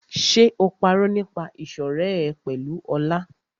Ṣé o parọ́ nípa ìṣọ̀rẹ́ ẹ pẹ̀lú Ọlá?